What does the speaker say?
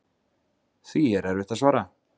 Því er erfitt að svara.